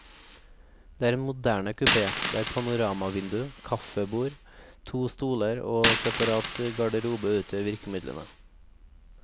Det er en moderne kupé, der panoramavindu, kafébord, to stoler og separat garderobe utgjør virkemidlene.